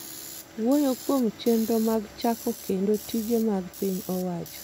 wuoyo kuom chenro mag chako kendo tije mag piny owacho